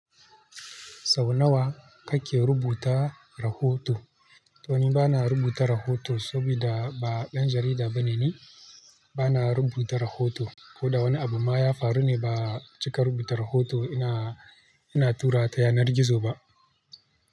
Sau nawa kake rubuta rahoto? To ni bana rubuta rahoto saboda ba ɗan jarida bane ni. Bana rubuta rahoto ko da wani abu ma ya faru ne ba cika rubuta rahoto. Ina, ina tura ta yanar gizo ba.